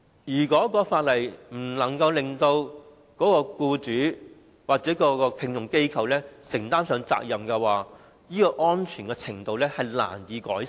如果法例不能夠使僱主或聘用機構承擔責任，職業安全的水平則難以改善。